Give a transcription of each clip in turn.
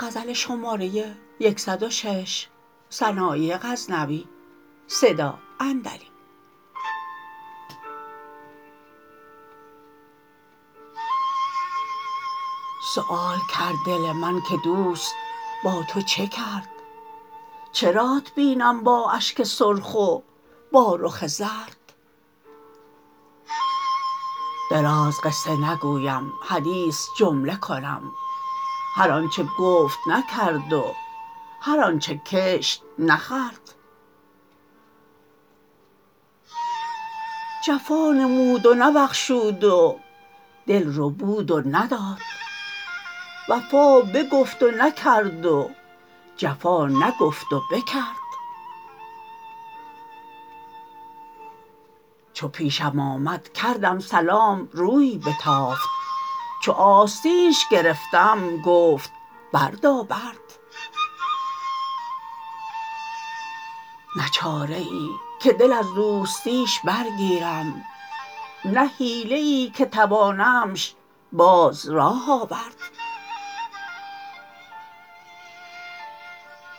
سوال کرد دل من که دوست با تو چه کرد چرات بینم با اشک سرخ و با رخ زرد درازقصه نگویم حدیث جمله کنم هر آنچه گفت نکرد و هر آنچه کشت نخورد جفا نمود و نبخشود و دل ربود و نداد وفا بگفت و نکرد و جفا نگفت و بکرد چو پیشم آمد کردم سلام روی بتافت چو آستینش گرفتم بگفت بردابرد نه چاره ای که دل از دوستیش برگیرم نه حیله ای که توانمش باز راه آورد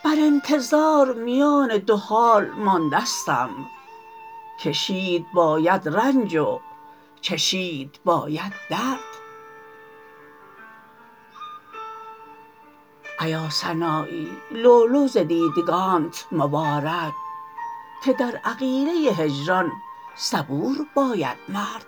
بر انتظار میان دو حال ماندستم کشید باید رنج و چشید باید درد ایا سنایی لؤلؤ ز دیدگانت مبار که در عقیله هجران صبور باید مرد